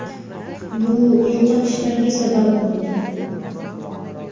Bu yo‘qotishlarga sabab bo‘ldi.